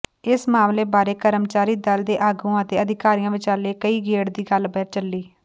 ਇਸ ਮਾਮਲੇ ਬਾਰੇ ਕਰਮਚਾਰੀ ਦਲ ਦੇ ਆਗੂਆਂ ਅਤੇ ਅਧਿਕਾਰੀਆਂ ਵਿਚਾਲੇ ਕਈ ਗੇੜ ਦੀ ਗੱਲਬਾਤ ਚੱਲੀ